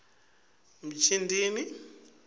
mjindini